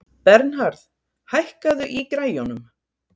Bernhard, hækkaðu í græjunum.